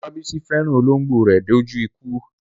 Olabisi fẹ́ràn olóńgbò rẹ̀ dé ojú ikú.